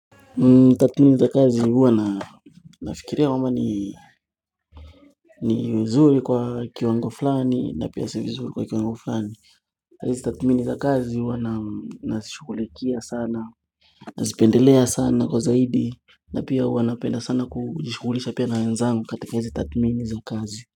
Tathmini za kazi huwa nafikiria kama ni nzuri kwa kiwango fulani na pia sio vizuri kwa kiwango fulani Tathmini za kazi huwa nazishughulikia sana, Nazipendelea sana kwa zaidi. Na pia huwa napenda sana kujishughulisha pia na wenzangu katika izo tathmini za kazi.